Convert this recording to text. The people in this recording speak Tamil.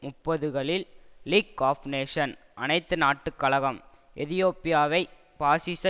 முப்பதுகளில் லீக் ஆப் நேஷன் அனைத்து நாட்டு கழகம் எதியோப்பியைவை பாசிச